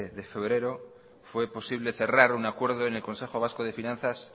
de febrero fue posible cerrar un acuerdo en el consejo vasco de finanzas